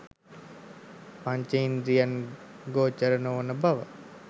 පංච ඉන්ද්‍රීය ගෝචර නොවන බව